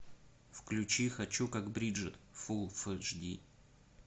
включи хочу как бриджит фул эйч ди